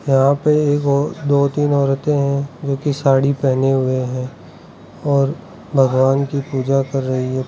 यहां पे एक ओर दो तीन औरतें हैं जो की साड़ी पहने हुए हैं और भगवान की पूजा कर रही है।